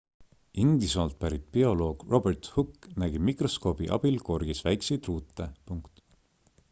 inglismaalt pärit bioloog robert hooke nägi mikroskoobi abil korgis väikeseid ruute